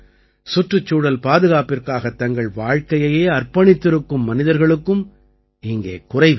சுற்றுச்சூழல் பாதுகாப்பிற்காகத் தங்கள் வாழ்க்கையையே அர்ப்பணித்திருக்கும் மனிதர்களுக்கும் இங்கே குறைவில்லை